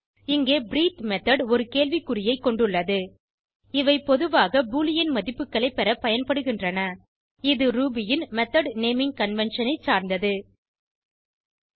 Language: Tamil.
இங்கே பிரீத்தே மெத்தோட் ஒரு கேள்வி குறியை கொண்டுள்ளது இவை பொதுவாக பூலியன் மதிப்புகளை பெற பயன்படுகின்றன இது ரூபி ன் மெத்தோட் நேமிங் கன்வென்ஷன் பெயர்சூட்டும் வழக்கம் ஐ சார்ந்தது